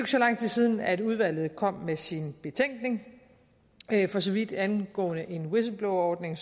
så lang tid siden at udvalget kom med sin betænkning for så vidt angår en whistleblowerordning